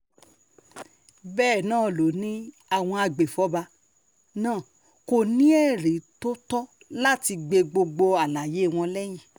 bákan náà ló ní àwọn agbèfọ́ba náà kò ní ẹ̀rí tó tọ́ láti gbé gbogbo àlàyé wọn lẹ́yìn